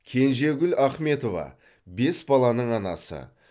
кенжегүл ахметова бес баланың анасы